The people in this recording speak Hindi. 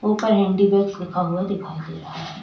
ऊपर हैंडीबैग लिखा हुआ है दिखाई दे रहा है।